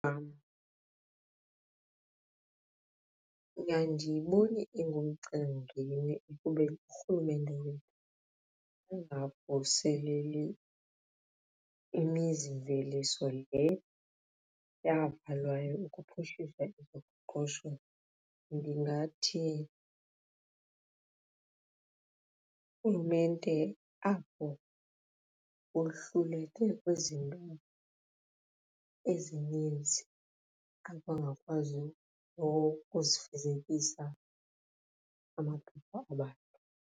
andiyiboni ingumcelimngeni ekubeni uRhulumente weli angavuseleli imizimveliso le yavalwayo ukuphuhlisa ezoqoqosho. Ndingathi uRhulumente apho wohluleke kwizinto ezininzi akhange akwazi ukuzifezekisa amaphupha abantu.